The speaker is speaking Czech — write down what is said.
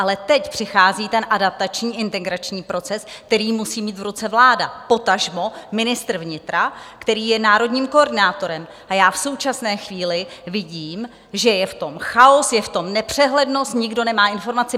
Ale teď přichází ten adaptační, integrační proces, který musí mít v ruce vláda, potažmo ministr vnitra, který je národním koordinátorem, a já v současné chvíli vidím, že je v tom chaos, je v tom nepřehlednost, nikdo nemá informace.